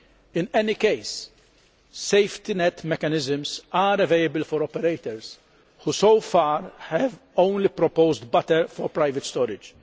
In any case, safety net mechanisms are available for operators who so far have only proposed butter for private storage.